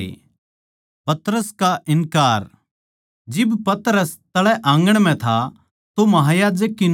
जिब पतरस तळै आँगण म्ह था तो महायाजक की नौकराणियाँ म्ह तै एक उड़ै आई